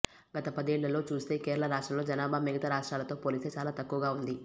గత పదేళ్లలో చూస్తే కేరళ రాష్ట్రంలో జనాభా మిగతా రాష్ట్రాలతో పోలిస్తే చాలా తక్కువగా ఉంది